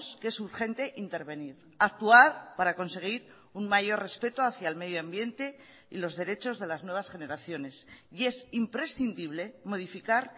que es urgente intervenir actuar para conseguir un mayor respeto hacia el medio ambiente y los derechos de las nuevas generaciones y es imprescindible modificar